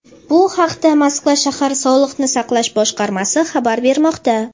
Bu haqda Moskva shahar sog‘liqni saqlash boshqarmasi xabar bermoqda.